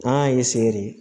N'an y'a de